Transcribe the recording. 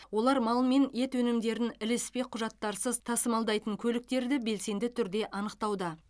олар мал мен ет өнімдерін ілеспе құжаттарсыз тасымалдайтын көліктерді белсенді түрде анықтауда